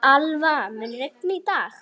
Alva, mun rigna í dag?